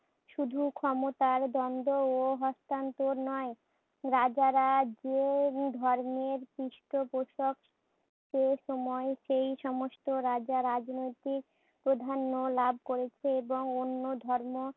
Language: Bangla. শুধু ক্ষমতার দ্বন্দ্ব ও হস্তান্তর নয়। রাজারা যে ধর্মের পৃষ্ঠপোষক সে সময়ে সেই সমস্ত রাজা রাজনৈতিক প্রাধান্য লাভ করেছে এবং অন্য ধর্ম